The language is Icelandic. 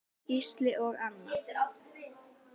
Gísli og Anna.